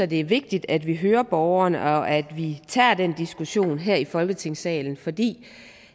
det er vigtigt at vi hører borgerne og at vi tager den diskussion her i folketingssalen fordi